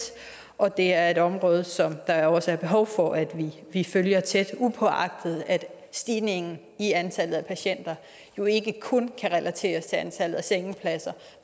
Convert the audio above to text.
og det er et område som der også er behov for at vi følger tæt uagtet at stigningen i antallet af patienter jo ikke kun kan relateres til antallet af sengepladser